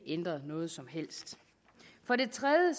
ændret noget som helst for det tredje